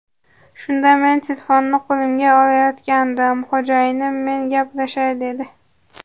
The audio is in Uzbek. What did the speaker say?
Shunda men telefonni qo‘limga olayotgandim, xo‘jayinim men gaplashay dedi.